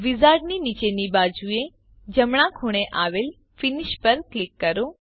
વિઝાર્ડની નીચેની બાજુએ જમણા ખૂણે આવેલ ફિનિશ પર ક્લિક કરો